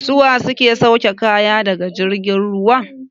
Su wa ke sauke kaya daga jirgin ruwa?